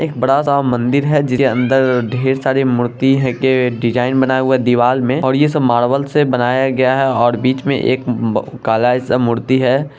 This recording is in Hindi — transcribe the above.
एक बड़ा सा मंदिर है जिसके अंदर ढेर सारी मूर्ति है की डिज़ाइन बना हुआ है दिवाल में और ये सब मार्बल से बनाया गया है और बीच में एक काला ऐसा मूर्ति है।